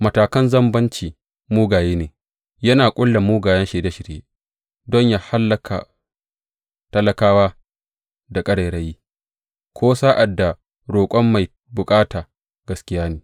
Matakan mazambaci mugaye ne, yana ƙulla mugayen shirye shirye don yă hallaka talakawa da ƙarairayi, ko sa’ad da roƙon mai bukata da gaskiya ne.